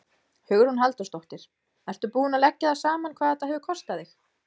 Hugrún Halldórsdóttir: Ertu búinn að leggja það saman hvað þetta hefur kostað þig?